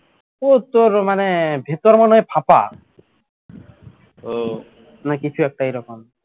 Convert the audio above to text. ওই তোর মানে ভিতরে মনে হয় ফাঁপা না কিছু একটা এরকম